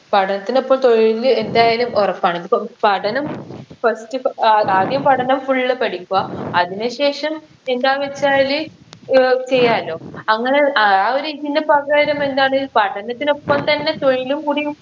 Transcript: പഠനത്തിനൊപ്പം തൊഴില് എന്തായാലും ഉറപ്പാണ് ഇതിപ്പൊ പഠനം first അഹ് ആ ആദ്യം പഠനം full പഠിക്കുക അതിന് ശേഷം എന്താ വെച്ചാല് ഏർ ചെയ്യാലോ അങ്ങനെ ആ ഒരു ഇതിന് പകരമെന്താണ് പഠനത്തിനൊപ്പം തന്നെ തൊഴിലും കൂടിയും